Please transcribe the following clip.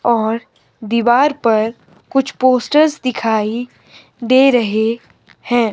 और दीवार पर कुछ पोस्टर्स दिखाई दे रहे हैं।